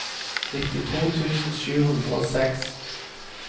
nittito tusen sju hundre og seks